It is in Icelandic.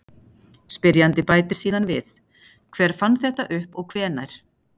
Spyrjandi bætir síðan við: Hver fann þetta upp og hvenær?